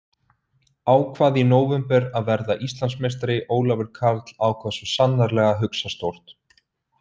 Ákvað í nóvember að verða Íslandsmeistari Ólafur Karl ákvað svo sannarlega að hugsa stórt.